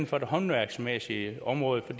for det håndværksmæssige område for